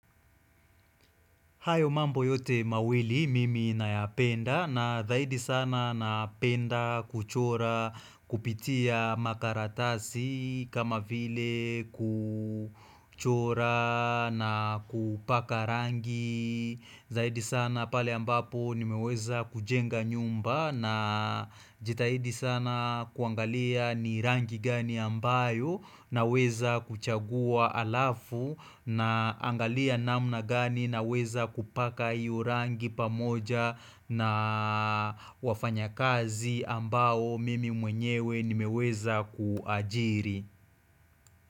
Hayo mambo yote mawili mimi na yapenda na zaidi sana na penda kuchora kupitia makaratasi kama vile kuchora na kupaka rangi. Zaidi sana pale ambapo nimeweza kujenga nyumba na jitahidi sana kuangalia ni rangi gani ambayo na weza kuchagua alafu naangalia namna gani naweza kupaka hiyo rangi pamoja na wafanyakazi ambao mimi mwenyewe nimeweza kuajiri.